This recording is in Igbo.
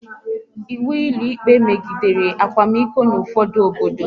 Ịwu ụlọikpe megidere akwamiko n'ufodu obodo